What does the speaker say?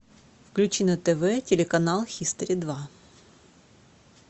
включи на тв телеканал хистори два